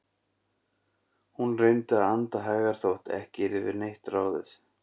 Hún reyndi að anda hægar þótt ekki yrði við neitt ráðið.